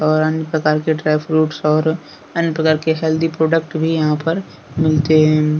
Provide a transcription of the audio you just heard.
और अन्य प्रकार के ड्राई फ्रूट्स और अन्य प्रकार के हेल्थी प्रोडक्ट भी यहां पर मिलते हैं।